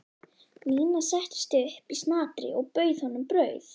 Nína settist upp í snatri og bauð honum brauð.